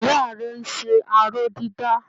Ìyá rẹ ń ṣe aró-dídà.